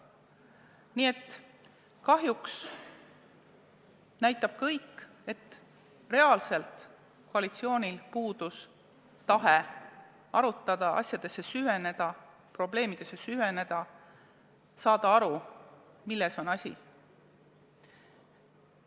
Nii et kahjuks näitab kõik, et koalitsioonil puudus tahe arutada, probleemidesse süveneda, saada aru, milles on asi.